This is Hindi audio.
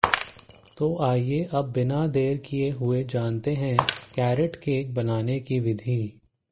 तो आइये अब बिना देर किये हुए जानते हैं कैरट केक बनाने की विधि